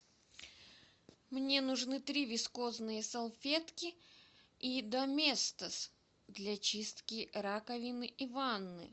мне нужны три вискозные салфетки и доместос для чистки раковины и ванны